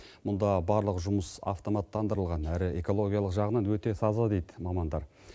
мұнда барлық жұмыс автоматтандырылған әрі экологиялық жағынан өте таза дейді мамандар